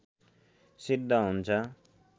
सिद्ध हुन्छ